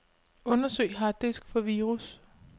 Undersøg harddisk for virus.